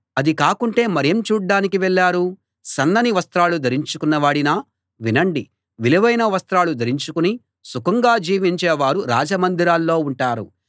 అది కాకుంటే మరేం చూడ్డానికి వెళ్ళారు సన్నని వస్త్రాలు ధరించుకున్నవాడినా వినండి విలువైన వస్త్రాలు ధరించుకుని సుఖంగా జీవించే వారు రాజ మందిరాల్లో ఉంటారు